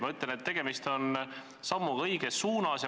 Ma ütlen, et tegemist on sammuga õiges suunas.